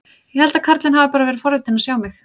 Ég held að karlinn hafi bara verið forvitinn að sjá mig.